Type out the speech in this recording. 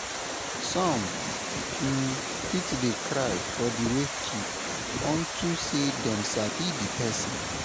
som um fit dey cry for di wakekeep on to sey dem sabi di pesin